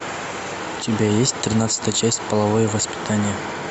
у тебя есть тринадцатая часть половое воспитание